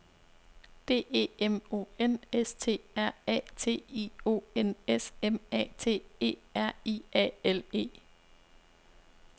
D E M O N S T R A T I O N S M A T E R I A L E